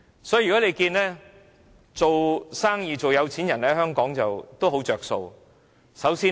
所以，在香港做生意或做有錢人有很多好處。